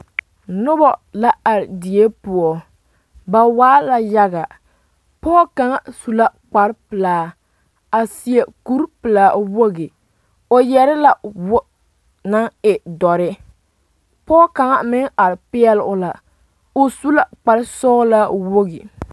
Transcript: Noba zeŋ la dakoo pelaa zu ka nemba tuonee daare ayi biŋ kɔge kaŋ ka bandege vili kaŋ nuure ayi ka bandege vili kaŋ meŋ gbɛɛ teere yi are la a bie puoriŋ